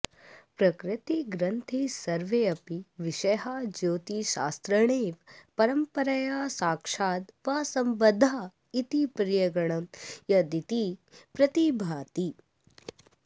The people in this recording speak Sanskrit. प्रकृते ग्रन्थे सर्वेऽपि विषयाः ज्यौतिषशास्त्रेणैव परम्परया साक्षाद् वा संबध्दा इति स पर्यगणयदिति प्रतिभाति